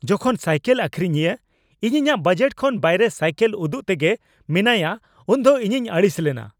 ᱡᱚᱠᱷᱚᱱ ᱥᱟᱭᱠᱮᱞ ᱟᱹᱠᱷᱨᱤᱧᱤᱭᱟᱹ ᱤᱧ ᱤᱧᱟᱹᱜ ᱵᱟᱡᱮᱴ ᱠᱷᱚᱱ ᱵᱟᱭᱨᱮ ᱥᱟᱭᱠᱮᱞ ᱩᱫᱩᱜ ᱛᱮᱜᱮ ᱢᱮᱱᱟᱭᱟ ᱩᱱᱫᱚ ᱤᱧᱤᱧ ᱟᱹᱲᱤᱥ ᱞᱮᱱᱟ ᱾